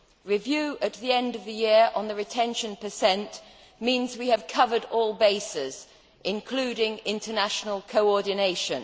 Review at the end of the year on the retention per cent means we have covered all bases, including international cooperation.